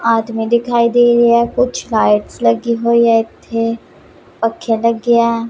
ਆਦਮੀ ਦਿਖਾਈ ਦੇ ਰਹੇ ਹੈ ਕੁਛ ਲਾਈਟਸ ਲੱਗੀ ਹੋਈ ਐ ਇਥੇ ਪੱਖੇ ਲੱਗੇ ਐ।